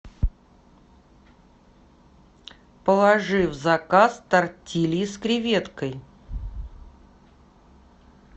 положи в заказ тортильи с креветкой